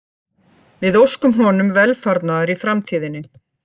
Við óskum honum velfarnaðar í framtíðinni